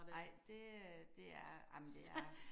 Nej det øh det er ej men det er